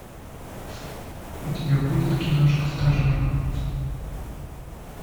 у тебя будет киношка стажер